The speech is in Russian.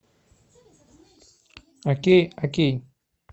окей окей